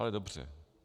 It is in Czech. Ale dobře.